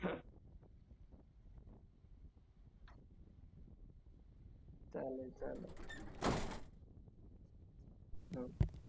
तुमचा जो problem आहे तो आम्ही नक्की solve करण्याचा प्रयत्न करतोय आणि तुमच्याकडून दुरुस्तीचे charges नाही घेतले जाणार sir